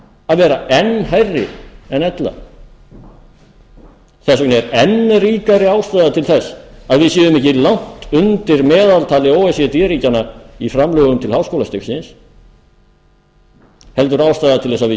að vera enn hærri en ella þess vegna er enn ríkari ástæða til þess að við séum ekki langt undir meðaltali o e c d ríkjanna í framlögum til háskólastigsins heldur ástæða til að við